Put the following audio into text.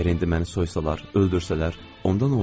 Əgər indi məni soysalar, öldürsələr, onda nə olar?